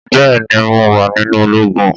Bẹ́ẹ̀ ni, mo wà nínú ológun